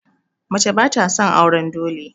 Mace ba sa son auren dole